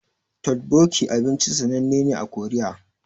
Totbokki abinci ne sananne a Korea